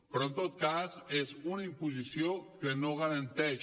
però en tot cas és una imposició que no garanteix